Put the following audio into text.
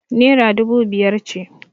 Naira dubu biyar ce.